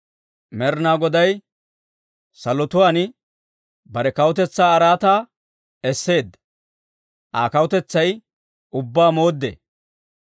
Med'inaa Goday salotuwaan bare kawutetsaa araataa esseedda; Aa kawutetsay ubbaa mooddee.